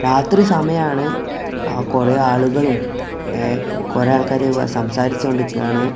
രാത്രി സമയാണ് അ കുറെ ആളുകളും എ കുറെ ആൾക്കാര് സംസാരിച്ചോണ്ട്ക്കാണ്.